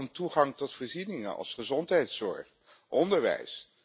Het gaat ook om toegang tot voorzieningen als gezondheidszorg, onderwijs.